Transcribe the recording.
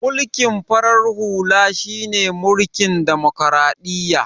Mulkin farar halu shine mulkin demokradiyya